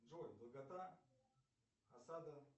джой долгота осада